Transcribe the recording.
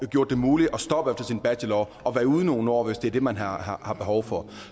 gjort det muligt at stoppe sin bachelor og være ude i nogle år hvis det er det man har har behov for